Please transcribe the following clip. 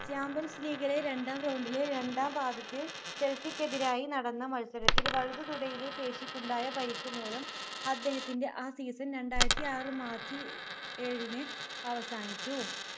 champions league ലെ രണ്ടാം round ലെ രണ്ടാം പാദത്തിൽ ചെൽസിക്കെതിരായി നടന്ന മത്സരത്തിൽ വലതു തുടയിലെ പേശിക്കുണ്ടായ പരിക്കുമൂലം അദ്ദേഹത്തിൻ്റെ ആ season രണ്ടായിരത്തി ആറു march ഏഴിന് അവസാനിച്ചു